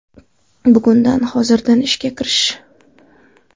Bugundan, hozirdan ishga kirish.